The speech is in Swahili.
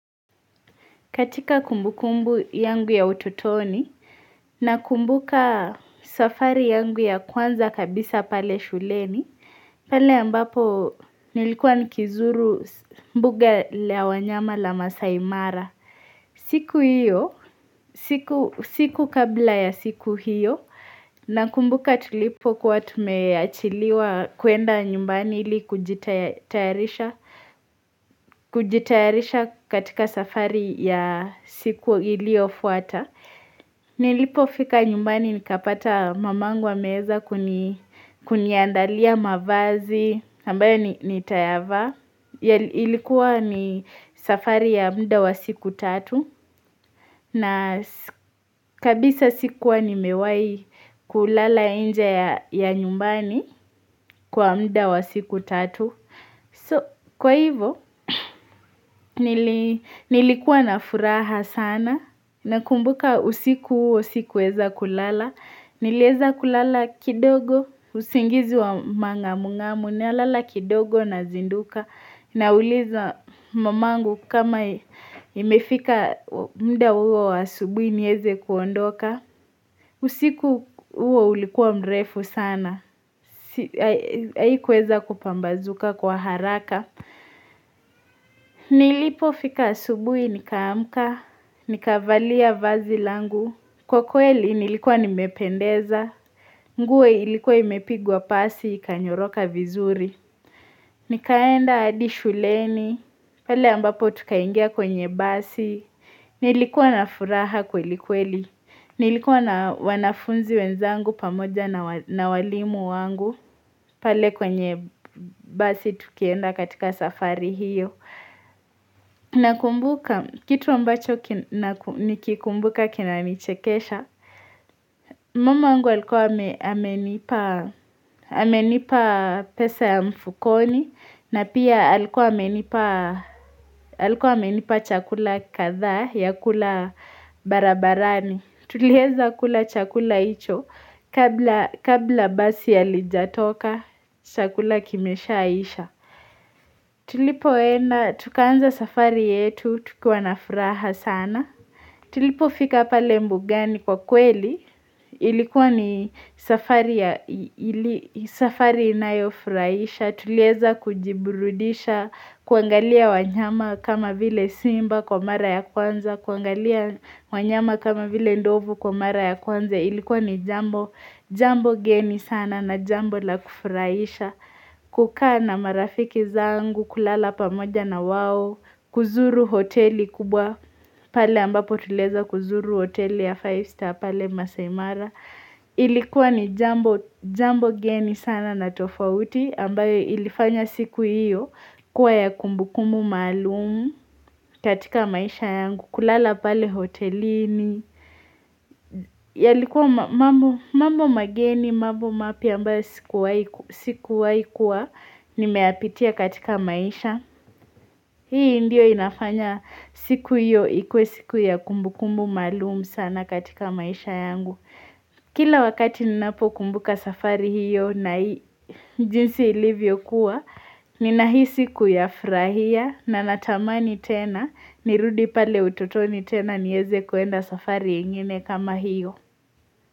Katika kumbukumbu yangu ya utotoni na kumbuka safari yangu ya kwanza kabisa pale shuleni, pale ambapo nilikuwa nikizuru mbuga la wanyama la maasaimara. Siku hiyo, siku kabla ya siku hiyo, na kumbuka tulipo kuwa tumeachiliwa kwenda nyumbani ili kujitayarisha katika safari ya siku iliyofuata. Nilipofika nyumbani nikapata mamangu ameweza kuniandalia mavazi, ambayo nitayavaa. Ilikuwa ni safari ya muda wa siku tatu na kabisa sikuwa ni mewai kulala nje ya nyumbani kwa muda wa siku tatu so kwa hivyo nilikuwa na furaha sana na kumbuka usiku huo sikuweza kulala niliweza kulala kidogo usingizi wa manga mungamu nalala kidogo na zinduka na uliza mamangu kama imefika muda huo wa asubui niweze kuondoka. Usiku huo ulikuwa mrefu sana. Hai kuweza kupambazuka kwa haraka. Na ilipo fika asubui nikaamka. Nikavalia vazi langu. Kwa kweli nilikuwa nimependeza. Nguo ilikuwa imepigwa pasi ikanyoroka vizuri. Nikaenda hadi shuleni. Pale ambapo tukaingia kwenye basi Nilikuwa na furaha kweli kweli Nilikuwa na wanafunzi wenzangu pamoja na walimu wangu pale kwenye basi tukienda katika safari hiyo Nakumbuka, kitu ambacho nikikumbuka kinanichekesha Mamangu alikuwa amenipa pesa ya mfukoni na pia alikuwa amenipa chakula kadhaa ya kula barabarani Tulieza kula chakula hicho kabla kabla basi halijatoka chakula kimeshaisha Tulipoenda tukaanza safari yetu tukiwa na furaha sana Tulipo fika pale mbugani kwa kweli ilikuwa ni safari safari inayofuraisha Tuliweza kujiburudisha, kuangalia wanyama kama vile simba kwa mara ya kwanza kuangalia wanyama kama vile ndovu kwa mara ya kwanza Ilikuwa ni jambo, jambo geni sana na jambo la kufurahisha kukaa na marafiki zangu, kulala pamoja na wao kuzuru hoteli kubwa, pale ambapo tuliweza kuzuru hoteli ya five star pale maasai mara Ilikuwa ni jambo jambo geni sana na tofauti ambayo ilifanya siku hiyo kuwa ya kumbukumbu maalumu katika maisha yangu kulala pale hotelini yalikuwa mambo mageni, mambo mapya ambayo sikuwaikuwa nimeyapitia katika maisha hii ndiyo inafanya siku hiyo ikuwe siku ya kumbukumbu maalumu sana katika maisha yangu kila wakati ninapo kumbuka safari hiyo na jinsi ilivyokuwa Ninahisi kuyafurahia na natamani tena nirudi pale utotoni tena niweze kuenda safari ingine kama hiyo.